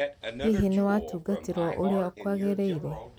Hihi nĩ watũngatĩrwo ũria kwagĩrĩĩre?